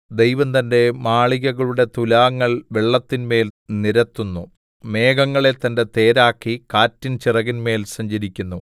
ദൈവം തന്റെ മാളികകളുടെ തുലാങ്ങൾ വെള്ളത്തിന്മേൽ നിരത്തുന്നു മേഘങ്ങളെ തന്റെ തേരാക്കി കാറ്റിൻ ചിറകിന്മേൽ സഞ്ചരിക്കുന്നു